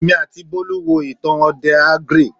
Èmi àti Bọ́lú wo ìtàn òdè ogre